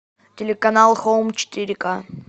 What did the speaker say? телеканал хоум четыре ка